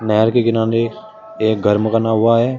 नहर के किनारे एक घर बना हुआ है।